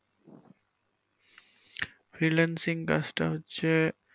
freelanceing কাজ টা হচ্ছে,